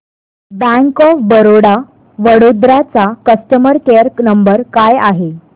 bank of Baroda Vadodara चा customer care number काय आहे